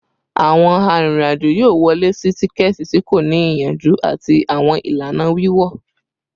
Awọn arinrin-ajo yoo wọle si tikẹti ti ko ni iyanju ati awọn ilana wiwọ